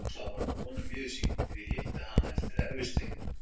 Rósa var að vonum miður sín þegar ég hitti hana við erfisdrykkjuna.